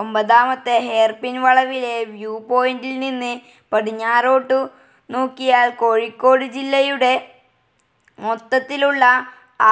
ഒമ്പതാമത്തെ ഹെയർപിൻ വളവിലെ വ്യൂ പോയിൻ്റിൽ നിന്ന് പടിഞ്ഞാറോട്ടു നോക്കിയാൽ കോഴിക്കോട് ജില്ലയുടെ മൊത്തത്തിലുള്ള